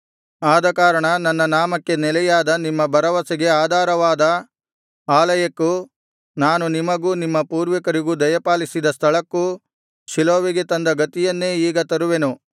ಆದಕಾರಣ ನನ್ನ ನಾಮಕ್ಕೆ ನೆಲೆಯಾದ ನಿಮ್ಮ ಭರವಸೆಗೆ ಆಧಾರವಾದ ಆಲಯಕ್ಕೂ ನಾನು ನಿಮಗೂ ನಿಮ್ಮ ಪೂರ್ವಿಕರಿಗೂ ದಯಪಾಲಿಸಿದ ಸ್ಥಳಕ್ಕೂ ಶೀಲೋವಿಗೆ ತಂದ ಗತಿಯನ್ನೇ ಈಗ ತರುವೆನು